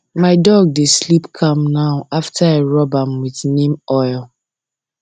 my dog dey sleep calm now after i rub am with neem oil